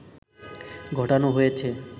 ঘটানো হয়েছে